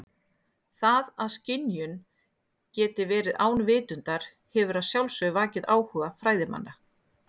Það að skynjun geti verið án vitundar hefur að sjálfsögðu vakið áhuga fræðimanna.